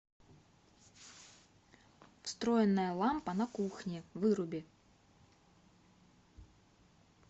встроенная лампа на кухне выруби